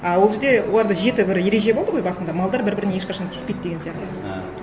а ол жерде оларда жеті бір ереже болды ғой басында малдар бір бірін ешқашан тиіспейді деген сияқты і